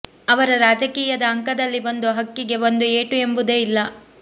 ಅವರ ರಾಜಕೀಯದ ಅಂಕದಲ್ಲಿ ಒಂದು ಹಕ್ಕಿಗೆ ಒಂದು ಏಟು ಎಂಬುದೇ ಇಲ್ಲ